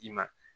I ma